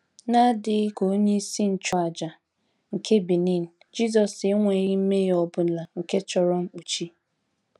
N’adịghị ka onyeisi nchụàjà nke Benin, Jisọs enweghị mmehie ọ bụla nke chọrọ mkpuchi.